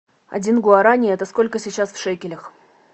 один гуарани это сколько сейчас в шекелях